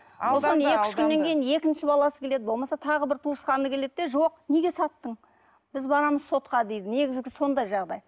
екінші баласы келеді болмаса тағы бір туысқаны келеді де жоқ неге саттың біз барамыз сотқа дейді негізгі сондай жағдай